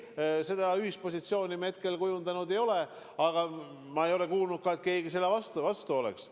Ei, seda ühispositsiooni me kujundanud ei ole, aga ma ei ole kuulnud, et keegi selle vastu oleks.